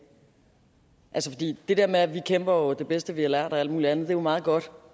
det der med at vi kæmper det bedste vi har lært og alt mulig andet er jo meget godt